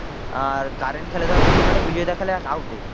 আর current খেলে ধর middle মাঠে বিজয় দা খেলে out এ